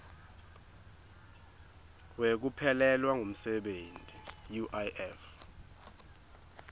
wekuphelelwa ngumsebenti uif